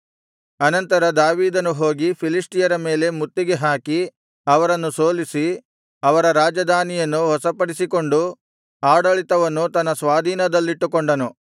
ಅನಂತರ ದಾವೀದನು ಹೋಗಿ ಫಿಲಿಷ್ಟಿಯರ ಮೇಲೆ ಮುತ್ತಿಗೆ ಹಾಕಿ ಅವರನ್ನು ಸೋಲಿಸಿ ಅವರ ರಾಜಧಾನಿಯನ್ನು ವಶಪಡಿಸಿಕೊಂಡು ಆಡಳಿತವನ್ನು ತನ್ನ ಸ್ವಾಧೀನದಲ್ಲಿಟ್ಟುಕೊಂಡನು